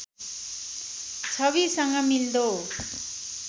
छविसँग मिल्दो